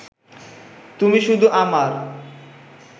তুমি শুধু আমার